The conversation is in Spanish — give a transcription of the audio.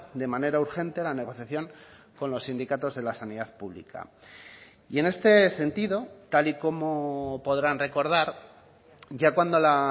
de manera urgente la negociación con los sindicatos de la sanidad pública y en este sentido tal y como podrán recordar ya cuando la